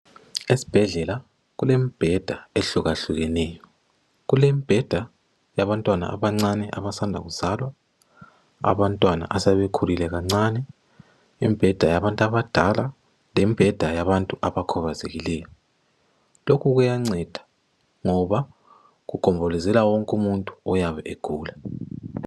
Esibhedlela kulemibheda ehlukahlukeneyo kulembheda yabantwana abancane abasanda kuzalwa abantwana asebekhulile kancane imbheda yabantu abadala lembheda yabantu abakhubazekileyo lokhu kuyanceda ngoba kugombolozela wonke umuntu oyabe egula.